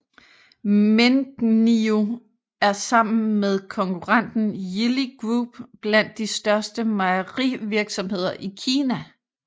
Mengniu er sammen med konkurrenten Yili Group blandt de største mejerivirksomheder i Kina